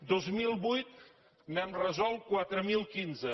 del dos mil vuit n’hem resolt quatre mil quinze